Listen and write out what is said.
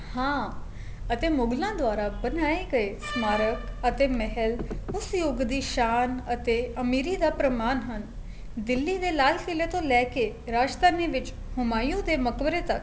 ਹਾਂ ਅਤੇ ਮੁਗਲਾ ਦੁਆਰਾ ਬਣਾਏ ਗਏ ਸਮਾਰਗ ਅਤੇ ਮਹਿਲ ਉਸ ਯੁੱਗ ਦੀ ਸ਼ਾਨ ਅਤੇ ਅਮੀਰੀ ਦਾ ਪ੍ਰਮਾਣ ਹਨ ਦਿੱਲੀ ਦੇ ਲਾਲ ਕਿਲੇ ਤੋ ਲੈਕੇ ਰਾਜਧਾਨੀ ਵਿੱਚ ਹੁਮਾਯੂ ਦੇ ਮਕਬਰੇ ਤੱਕ